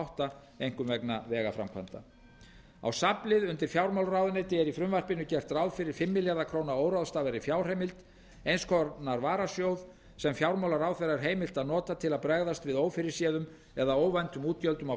átta einkum vegna vegaframkvæmda á safnlið undir fjármálaráðuneyti er í frumvarpinu gert ráð fyrir fimm milljarða króna óráðstafaðri fjárheimild eins konar varasjóð sem fjármálaráðherra er heimilt að nota til að bregðast við ófyrirséðum eða óvæntum útgjöldum á